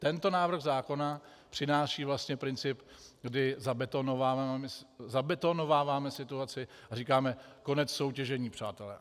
Tento návrh zákona přináší vlastně princip, kdy zabetonováváme situaci a říkáme: konec soutěžení, přátelé.